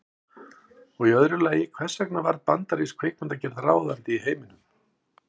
Og í öðru lagi, hvers vegna varð bandarísk kvikmyndagerð ráðandi í heiminum?